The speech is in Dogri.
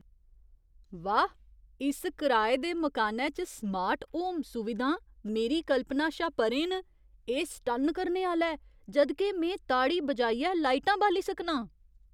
वाह्, इस कराए दे मकानै च स्मार्ट होम सुविधां मेरी कल्पना शा परें न। एह् सटन्न करने आह्‌ला ऐ जद् के में ताड़ी बजाइयै लाइटां बाली सकनां!